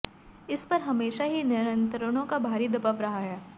इस पर हमेशा ही नियंत्रणों का भारी दबाव रहा है